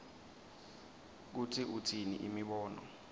kutsi utsini imibono